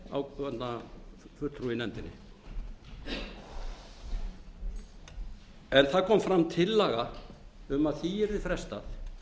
ákveðinna fulltrúa í nefndinni en það kom fram tillaga um að því yrði frestað